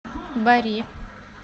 бари